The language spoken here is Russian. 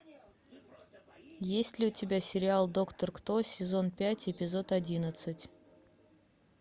есть ли у тебя сериал доктор кто сезон пять эпизод одиннадцать